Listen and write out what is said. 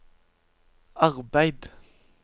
arbeid